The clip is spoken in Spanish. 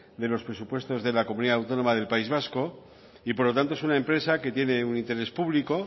de los presupuestos de la comunidad autónoma del país vasco y por lo tanto es una empresa que tiene un interés público